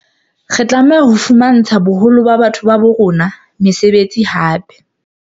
Re tlameha ho fumantsha boholo ba batho ba rona mesebetsi hape.